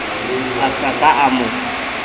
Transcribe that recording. a sa ka a mo